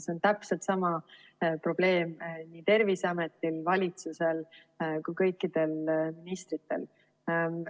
See on täpselt sama probleem nii Terviseametil, valitsusel kui ka kõikidel ministritel.